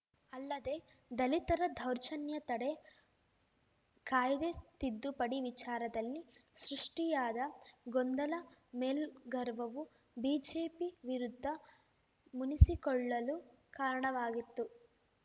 ಅಲ್ಲದೆ ದಲಿತರ ದೌರ್ಜನ್ಯ ತಡೆ ಕಾಯ್ದೆ ತಿದ್ದುಪಡಿ ವಿಚಾರದಲ್ಲಿ ಸೃಷ್ಟಿಯಾದ ಗೊಂದಲ ಮೇಲ್ ಗರ್ವವು ಬಿಜೆಪಿ ವಿರುದ್ಧ ಮುನಿಸಿಕೊಳ್ಳಲು ಕಾರಣವಾಗಿತ್ತು